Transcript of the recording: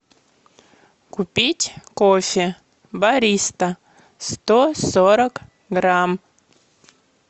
купить кофе бариста сто сорок грамм